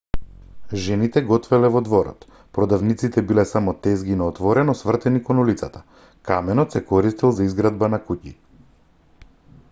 жените готвеле во дворот продавниците биле само тезги на отворено свртени кон улицата каменот се користел за изградба на куќи